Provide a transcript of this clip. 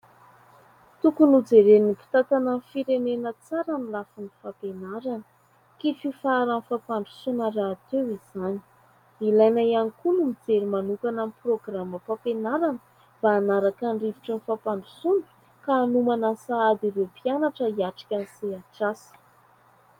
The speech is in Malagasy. Tokony ho jeren'ny mpitantana ny firenena tsara ny lafin'ny fampianarana. Kitro ifaharan'ny fampandrosoana rahateo izany. Ilaina ihany koa ny mijery manokana amin'ny programam- pampianarana mba hanaraka ny rivotry ny fampandrosoana ka hanomana sahady ireo mpianatra hiatrika ny sehatr'asa.